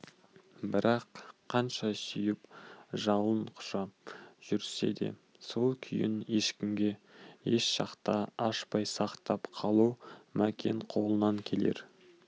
бірақ қанша сүйіп жалын құша жүрсе де сол күйін ешкімге еш шақта ашпай сақтап қалу мәкен қолынан келер